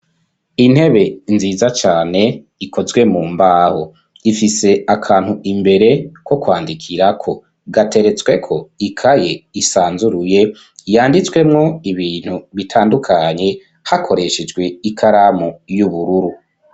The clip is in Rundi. Intebe nziza cane ikozwe mu mbaho ifise akantu imbere ko kwandikirako gateretsweko ikaye isanzuruye yanditswemwo ibintu bitandukanye hakoreshejwe ikaramu y'ubururu.